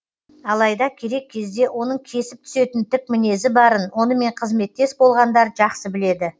алайда керек кезде оның кесіп түсетін тік мінезі барын онымен қызметтес болғандар жақсы біледі